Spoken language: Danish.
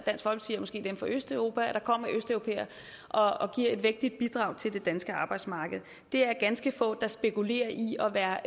måske dem fra østeuropa der kommer østeuropæere og og giver et vigtigt bidrag til det danske arbejdsmarked det er ganske få der spekulerer i at være